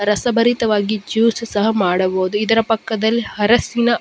ರಸಭರಿತವಾಗಿ juice ಸಹ ಮಾಡಬಹುದು ಇದರ ಪಕ್ಕದಲ್ಲಿ ಹರಸಿನ --